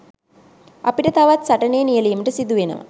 අපිට තවත් සටනේ නියැළීමට සිදුවෙනවා.